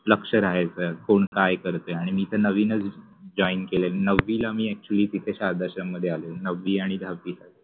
लक्ष राहायच कोण काय करते आणी मि तर नविनच जॉइन केलय. नवविला मि अ‍ॅक्च्युअलि मि तिथे शारदाश्रम मधे आलो नववि आणि दहावि